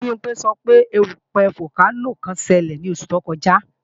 Bimpé sọ pé erúpẹ̀ fókénò kan ṣelẹ̀ ní oṣù tó kọjá